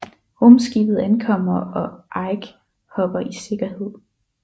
Rumskibet ankommer og Ike hopper i sikkerhed